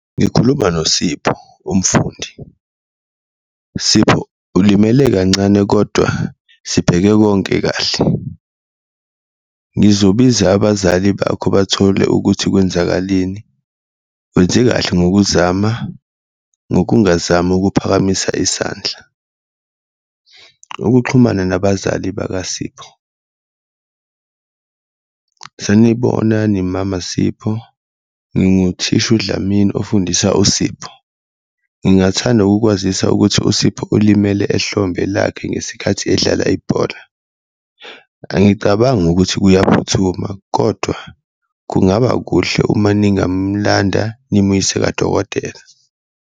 Ngikhuluma noSipho umfundi, Sipho ulimele kancane kodwa sibheke konke kahle ngizobiza abazali bakho bathole ukuthi kwenzakaleni, wenze kahle ngokuzama ngokungazami ukuphakamisa isandla. Ukuxhumana nabazali bakaSipho, sanibonani mama Sipho nginguthisha uDlamini ofundisa uSipho, ngingathanda ukukwazisa ukuthi uSipho ulimele ehlombe lakhe ngesikhathi edlala ibhola, angicabangi ukuthi kuyaphuthuma kodwa kungaba kuhle uma ningamlanda nimuyise kadokotela.